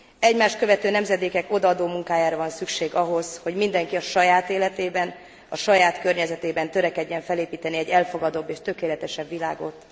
Egymást követő nemzedékek odaadó munkájára van szükség ahhoz, hogy mindenki a saját életében, a saját környezetében törekedjen felépíteni egy elfogadóbb és tökéletesebb világot.